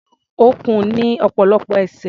Ọ̀kùn ní ọ̀pọ̀lọpọ̀ ẹsẹ̀.